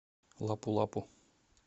лапу лапу